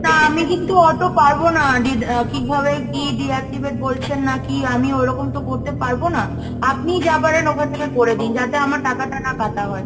না, আমি কিন্তু অতো পারবো না, ডি কিভাবে কি deactivate বলছেন নাকি, আমি ওরকম তো করতে পারব না, আপনি যা পারেন ওখান থেকে করে দিন, যাতে আমার টাকাটা না কাটা হয়।